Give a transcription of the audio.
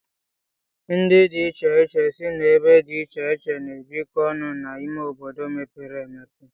Ndị dị iche iche si ebe dị iche iche na-ebiko ọnụ n'ime obodo mepere emepe.